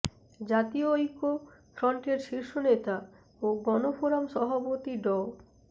জাতীয় ঐক্য ফ্রন্টের শীর্ষ নেতা ও গণফোরাম সভাপতি ড